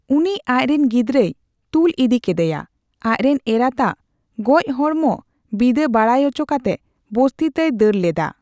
ᱩᱱᱤ ᱟᱡᱨᱮᱱ ᱜᱤᱫᱽᱨᱟᱹᱭ ᱛᱩᱞ ᱤᱫᱤ ᱠᱮᱫᱮᱭᱟ, ᱟᱡᱨᱮᱱ ᱮᱨᱟᱛᱟᱫ ᱜᱚᱪ ᱦᱚᱲᱢᱚ ᱵᱤᱫᱟᱹ ᱵᱟᱰᱟᱭ ᱚᱪᱚᱠᱟᱛᱮ ᱵᱚᱥᱛᱤᱛᱮᱭ ᱫᱟᱹᱲ ᱞᱮᱫᱟ ᱾